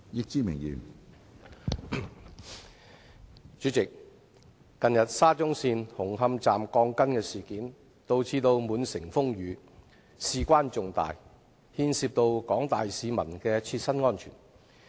主席，近日沙中線紅磡站鋼筋事件導致滿城風雨，事關重大，牽涉廣大市民的切身安全。